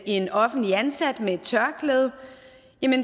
en offentligt ansat med et tørklæde